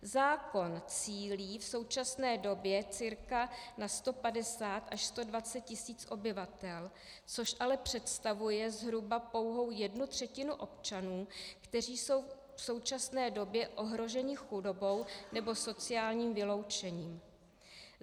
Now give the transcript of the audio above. Zákon cílí v současné době cca na 150 až 120 tisíc obyvatel, což ale představuje zhruba pouhou jednu třetinu občanů, kteří jsou v současné době ohroženi chudobou nebo sociálním vyloučením.